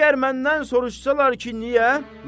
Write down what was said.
Və əgər məndən soruşsalar ki, niyə?